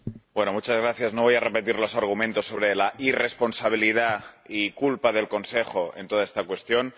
Señor Presidente, no voy a repetir los argumentos sobre la irresponsabilidad y culpa del Consejo en toda esta cuestión.